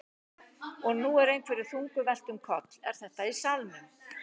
Og nú er einhverju þungu velt um koll. er þetta í salnum?